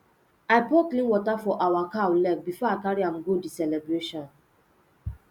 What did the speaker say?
i pour clean water for our cow leg before i carry am go the celebration